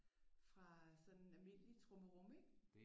Fra sådan almindeligt trummerum ik